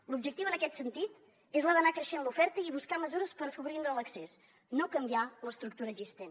l’objectiu en aquest sentit és el d’anar creixent en l’oferta i buscar mesures per afavorir hi l’accés no canviar ne l’estructura existent